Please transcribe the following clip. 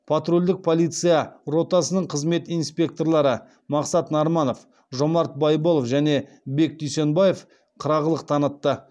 патрульдік полиция ротасының қызмет инспекторлары мақсат нарманов жомарт байбол және бек дүйсенбаев қырағылық танытты